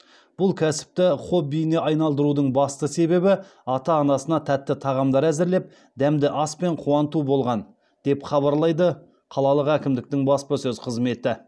бұл кәсіпті хоббиіне айналдырудың басты себебі ата анасына тәтті тағамдар әзірлеп дәмді аспен қуанту болған деп хабарлайды қалалық әкімдіктің баспасөз қызметі